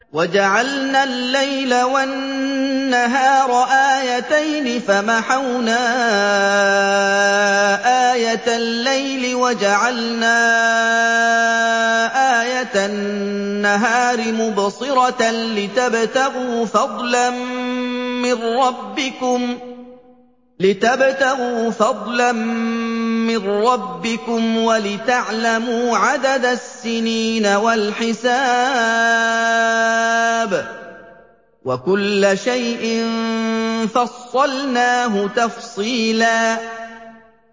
وَجَعَلْنَا اللَّيْلَ وَالنَّهَارَ آيَتَيْنِ ۖ فَمَحَوْنَا آيَةَ اللَّيْلِ وَجَعَلْنَا آيَةَ النَّهَارِ مُبْصِرَةً لِّتَبْتَغُوا فَضْلًا مِّن رَّبِّكُمْ وَلِتَعْلَمُوا عَدَدَ السِّنِينَ وَالْحِسَابَ ۚ وَكُلَّ شَيْءٍ فَصَّلْنَاهُ تَفْصِيلًا